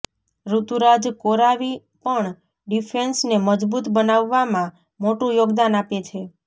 ઋતુરાજ કોરાવી પણ ડિફેન્સને મજબૂત બનાવવામાં મોટુ યોગદાન આપે છે